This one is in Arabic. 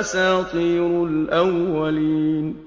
أَسَاطِيرُ الْأَوَّلِينَ